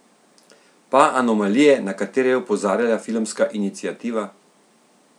Pa anomalije, na katere je opozarjala Filmska iniciativa?